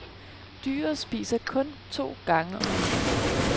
Dyret spiser kun to gange om ugen.